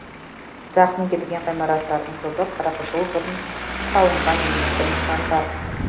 зақым келген ғимараттардың көбі қырық жыл бұрын салынған ескі нысандар